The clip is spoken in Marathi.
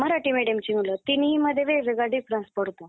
मराठी medium चे मुलं तिन्हीमधे वेगवेगळा difference पडतो.